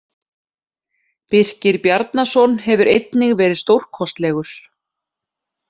Birkir Bjarnason hefur einnig verið stórkostlegur.